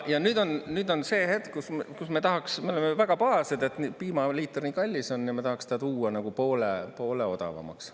Ja nüüd on see hetk, kus me tahaks, me oleme väga pahased, et piimaliiter nii kallis on, ja m tahaks ta tuua poole odavamaks.